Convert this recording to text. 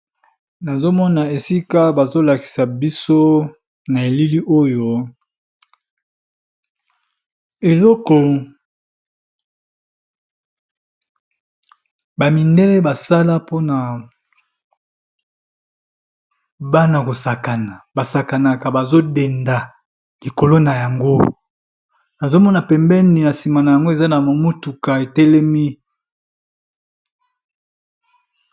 Nazomona esika bazolakisa biso na elili oyo eloko ba mindele basala pona bana kosakana basakanaka bazo denda likolo nayango nazomona pembeni na sima mutuka etelemi.